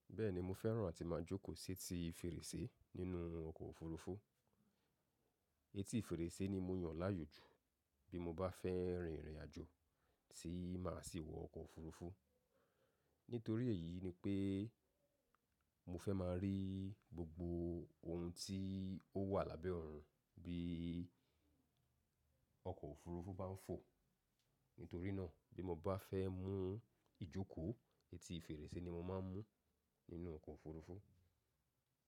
Bẹ́ẹ̀ni, mo fẹ́ràn àti máa jókòó sí etí fèrèsé nínú ọkọ̀ òfurufú. Etí fèrèsé ni mo yàn láyòjú bí mo bá fẹ́ rin ìrìnàjò tí máa sì wọ ọkọ̀ òfurufú. Nítorí èyí ni pé mo fẹ́ máa rí gbogbo ohun tí ó wà lábẹ́ ọ̀run bí ọkọ̀ òfurufú bá ń fò. Nítorí náà bí mo bá fẹ́ mú ìjókòó, etí fèrèsé ni mo máa ń mú nínú ọkọ̀ òfurufú.